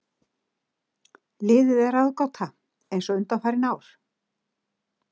Liðið er ráðgáta eins og undanfarin ár.